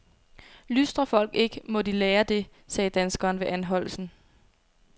Lystrer folk ikke, må de lære det, sagde danskeren ved anholdelsen.